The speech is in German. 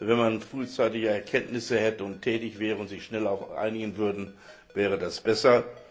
Wenn man frühzeitige Erkenntnisse hätte und tätig wäre und sich schneller einigen würde, wäre das besser.